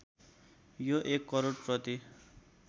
यो १ करोड प्रति